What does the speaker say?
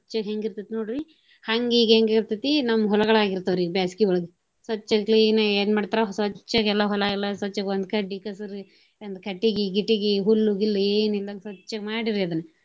ಹೆಂಗ ಇರ್ತೆತಿ ನೋಡ್ರಿ ಹಂಗ ಈಗ ಹೆಂಗ ಇರ್ತೆತಿ ನಮ್ಮ ಹೊಲಗಳ ಆಗಿರ್ತಾವ್ರಿ ಬ್ಯಾಸ್ಗಿಯೊಳಗ. ಸ್ವಚ್ಛಗ clean ಗ ಏನ ಮಾಡ್ತಾರ ಸ್ವಚ್ಛಗೆ ಎಲ್ಲಾ ಹೊಲ ಎಲ್ಲಾ ಸ್ವಚ್ಛಗೆ ಒಂದು ಕಡ್ಡಿ, ಕಸರ ಒಂದು ಕಟ್ಟಗಿ, ಗಿಟ್ಟಗಿ, ಹುಲ್ಲು, ಗಿಲ್ಲು ಏನ ಇಲ್ದಂಗ ಸ್ವಚ್ಛಗ ಮಾಡೀರಿ ಅದನ್ನ.